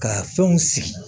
Ka fɛnw sigi